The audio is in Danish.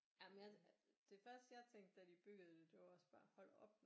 Jamen jeg det første jeg tænkte da de byggede det var også bare hold op